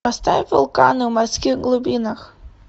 поставь вулканы в морских глубинах